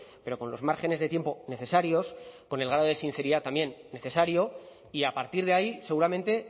pero con los márgenes de tiempo necesarios con el grado de sinceridad también necesario y a partir de ahí seguramente